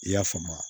I y'a faamu